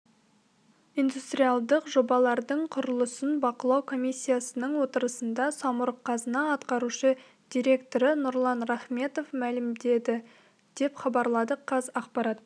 индустриалдық жобалардың құрылысын бақылау комиссиясының отырысында самұрық-қазына атқарушы директоры нұрлан рахметов мәлімдеді деп хабарлады қазақпарат